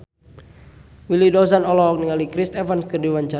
Willy Dozan olohok ningali Chris Evans keur diwawancara